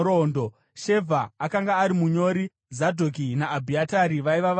Shevha akanga ari munyori; Zadhoki naAbhiatari vaiva vaprista;